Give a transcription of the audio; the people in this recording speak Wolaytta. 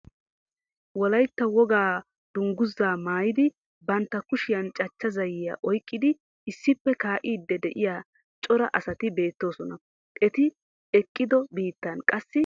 Wolayitta wogaa dungguzzaa mayidi bantta kushiyan cachucha zayyiya oyiqqidi issippe kaa'iiddi de'iya cora asati beettoosona. Eti eqqidi biittan qassi maatay dees.